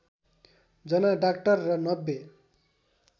जना डाक्टर र ९०